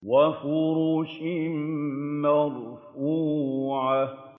وَفُرُشٍ مَّرْفُوعَةٍ